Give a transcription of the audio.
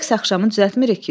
Rəqs axşamı düzəltmirik ki.